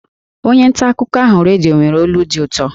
Onye nta akụkọ ahụ redio nwere olu dị ụtọ